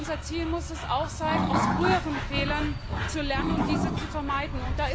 Aber unser Ziel muss auch sein, aus früheren Fehlern zu lernen und diese zu vermeiden.